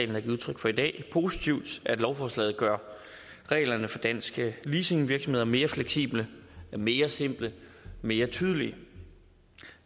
har givet udtryk for i dag positivt at lovforslaget gør reglerne for danske leasingvirksomheder mere fleksible mere simple og mere tydelige